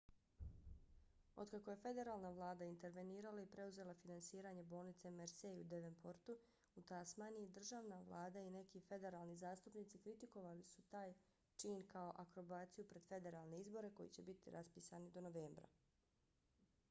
otkako je federalna vlada intervenirala i preuzela finansiranje bolnice mersey u devonportu u tasmaniji državna vlada i neki federalni zastupnici kritikovali su taj čin kao akrobaciju pred federalne izbore koji će biti raspisani do novembra